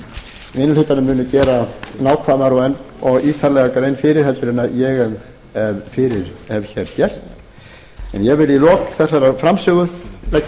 í minni hlutanum munu gera nákvæmar og ítarlegri grein fyrir en ég hef hér gert en ég vil í lok þessarar framsögu leggja